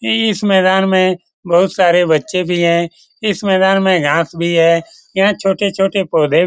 ई इस मैदान में बहुत सारे बच्चे भी हैं इस मैदान में घास भी है यहाँ छोटे-छोटे पौधे --